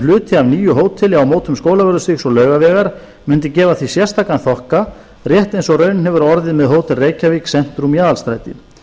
hluti af nýju hóteli á mótum skólavörðustígs og laugavegar mundu gefa því sérstakan þokka rétt eins og raunin hefur orðið með hótel reykjavík centrum í aðalstræti